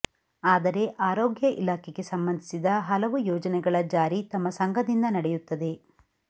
ಆದರೆ ಆರೋಗ್ಯ ಇಲಾಖೆಗೆ ಸಂಬಂಧಿಸಿದ ಹಲವು ಯೋಜನೆಗಳ ಜಾರಿ ತಮ್ಮ ಸಂಘದಿಂದ ನಡೆಯುತ್ತದೆ